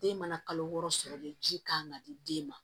Den mana kalo wɔɔrɔ sɔrɔ de ji kan ka di den ma